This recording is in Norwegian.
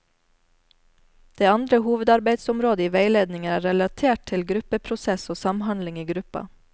Det andre hovedarbeidsområdet i veiledningen er relatert til gruppeprosess og samhandling i gruppa.